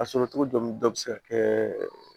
A sɔrɔ cogo dɔn dɔ bɛ se ka kɛ